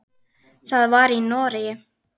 Það var í Noregi.